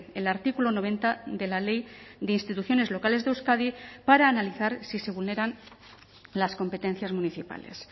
el artículo noventa de la ley de instituciones locales de euskadi para analizar si se vulneran las competencias municipales